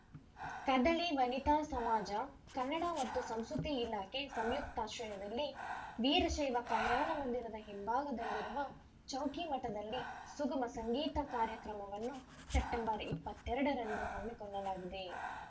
ಕದಳಿ ವನಿತಾ ಸಮಾಜ ಕನ್ನಡ ಮತ್ತು ಸಂಸ್ಕೃತಿ ಇಲಾಖೆ ಸಂಯುಕ್ತಾಶ್ರಯದಲ್ಲಿ ವೀರಶೈವ ಕಲ್ಯಾಣ ಮಂದಿರದ ಭಾಗದಲ್ಲಿರುವ ಚೌಕಿಮಠದಲ್ಲಿ ಸುಗಮ ಸಂಗೀತ ಕಾರ್ಯಕ್ರಮವನ್ನು ಸೆಪ್ಟೆಂಬರ್ ಇಪ್ಪತ್ತೆರಡು ರಂದು ಹಮ್ಮಿಕೊಳ್ಳಲಾಗಿದೆ